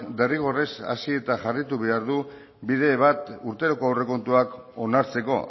derrigorrez hasi eta jarraitu behar du bide bat urteroko aurrekontuak onartzeko